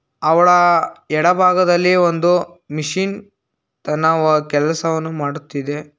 ಅವಳ ಎಡ ಭಾಗದಲ್ಲಿ ಒಂದು ಮಿಷಿನ್ ತನ ವಾ- ಕೆಲಸವನ್ನು ಮಾಡುತ್ತಿದೆ.